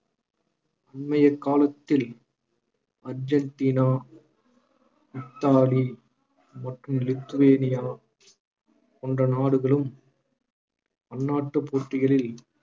அண்மைய காலத்தில் Argentina Italy மற்றும் லித்துவேனியா போன்ற நாடுகளும் பன்னாட்டு போட்டிகளில்